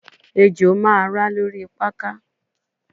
Ejo ma ra lori pakà